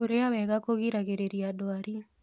Kũrĩa kwega kũrĩgagĩrĩrĩa ndwarĩ